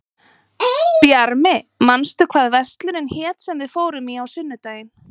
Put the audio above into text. Bjarmi, manstu hvað verslunin hét sem við fórum í á sunnudaginn?